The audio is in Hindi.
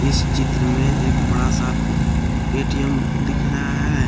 इस चित्र में एक बड़ा सा ए_टी_एम दिख रहा है।